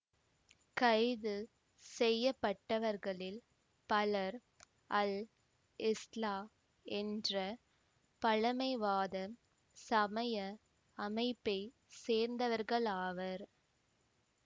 கைது செய்ய பட்டவர்களில் பலர் அல் இஸ்லா என்ற பழமைவாத சமய அமைப்பை சேர்ந்தவர்களாவர்